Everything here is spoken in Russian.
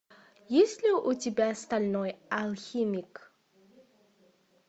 есть ли у тебя стальной алхимик